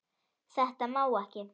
Þetta má ekki.